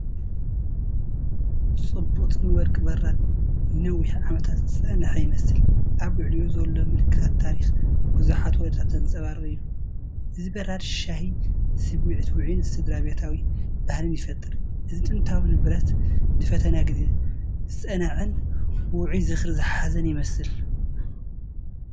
ጽብቕትን ወርቂ ብራድ ንነዊሕ ዓመታት ዝጸንሐ ይመስል፣ ኣብ ልዕሊኡ ዘሎ ምልክታት ታሪኽ ብዙሓት ወለዶታት ዘንጸባርቕ እዩ። እዚ ብራድ ሻሂ፡ ስምዒት ውዑይን ስድራቤታዊ ባህልን ይፈጥር። እዚ ጥንታዊ ንብረት ንፈተና ግዜ ዝጸንዐን ውዑይ ዝኽሪ ዝሓዘን ይመስል።